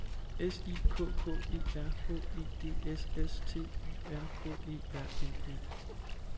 S I K K E R H E D S S T Y R K E R N E